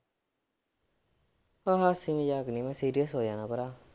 ਹਾਸੇ ਮਜ਼ਾਕ ਨੀ ਮੈਂ serious ਹੋ ਜਾਣਾ ਭਰਾ